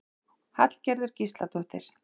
Hallgerður Gísladóttir.